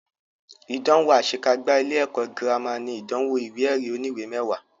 Ìdánwò àṣe kágbá ilé ẹ̀kọ́ gírámà ní ìdánwò ìwé ẹ̀rí oníwè mẹwàá.